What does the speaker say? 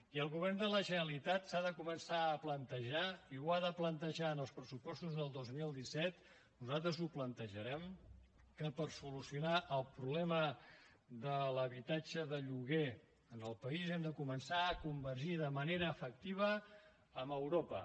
i el govern de la generalitat s’ha de començar a plantejar i ho ha de plantejar en els pressupostos del dos mil disset nosaltres ho plantejarem que per solucionar el problema de l’habitatge de lloguer en el país hem de començar a convergir de manera efectiva amb europa